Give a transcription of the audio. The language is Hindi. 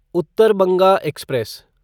उत्तर बंगा एक्सप्रेस